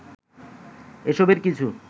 এসবের কিছু